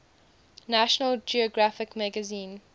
national geographic magazine